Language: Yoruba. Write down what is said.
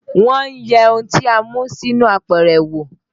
Wọ́n yẹ ohun tí a mú sínú apẹ̀rẹ̀ wo